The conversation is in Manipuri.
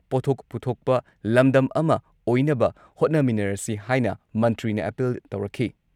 ꯄꯣꯠꯊꯣꯛ ꯄꯨꯊꯣꯛꯄ ꯂꯝꯗꯝ ꯑꯃ ꯑꯣꯏꯅꯕ ꯍꯣꯠꯅꯃꯤꯟꯅꯔꯁꯤ ꯍꯥꯏꯅ ꯃꯟꯇ꯭ꯔꯤꯅ ꯑꯥꯄꯤꯜ ꯇꯧꯔꯛꯈꯤ